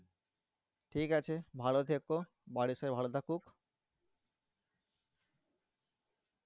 ঠিক আছে ভালো থেকো। বাড়ির সবাই ভালো থাকুক।